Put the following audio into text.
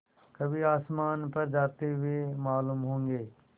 कभी आसमान पर जाते हुए मालूम होंगे